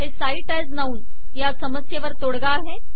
हे cite as noun या समस्येवर तोडगा आहे